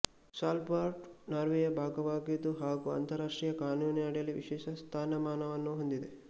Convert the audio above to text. Svalbard ನಾರ್ವೆಯ ಭಾಗವಾಗಿದ್ದು ಹಾಗು ಅಂತಾರಾಷ್ಟ್ರೀಯ ಕಾನೂನಿನಡಿಯಲ್ಲಿ ವಿಶೇಷ ಸ್ಥಾನಮಾನವನ್ನು ಹೊಂದಿದೆ